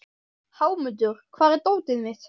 Hámundur, hvar er dótið mitt?